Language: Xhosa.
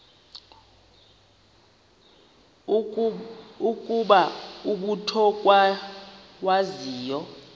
ukuba umut ongawazivo